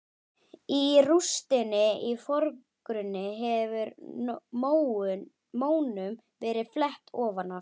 Í rústinni í forgrunni hefur mónum verið flett ofan af.